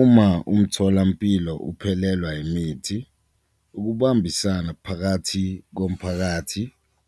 Uma umtholampilo uphelelwa imithi ukubambisana phakathi komphakathi,